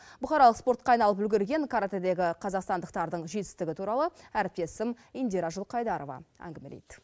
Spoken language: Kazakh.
бұқаралық спортқа айналып үлгерген каратэдегі қазақстандықтардың жетістігі туралы әріптесім индира жылқайдарова әңгімелейді